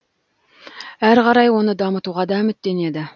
әрі қарай оны дамытуға да үміттенеді